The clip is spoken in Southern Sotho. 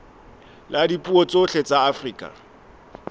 la dipuo tsohle tsa afrika